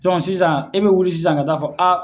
sisan i bɛ wuli sisan ka ta'a fɔ a